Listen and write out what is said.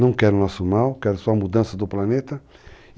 Não quero o nosso mal, quero só a mudança do planeta.